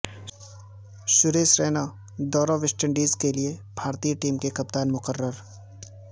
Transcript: سریش رائنا دورہ West Indies کےلیے بھارتی ٹیم کے کپتان مقرر